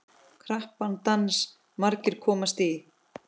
Krappan dans margir komast í.